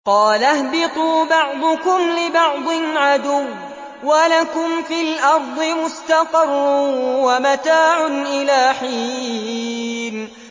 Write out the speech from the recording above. قَالَ اهْبِطُوا بَعْضُكُمْ لِبَعْضٍ عَدُوٌّ ۖ وَلَكُمْ فِي الْأَرْضِ مُسْتَقَرٌّ وَمَتَاعٌ إِلَىٰ حِينٍ